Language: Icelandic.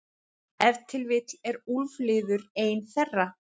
Ef til vill er úlfliður ein þeirra.